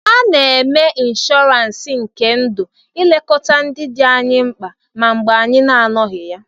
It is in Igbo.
A na-eme inshọransi nke ndụ ilekọta ndị dị anyị mkpa ma mgbe anyị na-anọghị ya.